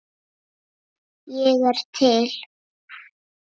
Ég er til.